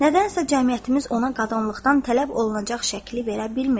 Nədənsə cəmiyyətimiz ona qadınlıqdan tələb olunacaq şəkli verə bilmir.